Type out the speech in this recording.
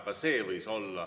Ka nii võis olla.